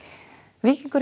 Víkingur